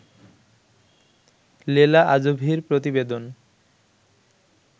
লেলা আজোভির প্রতিবেদন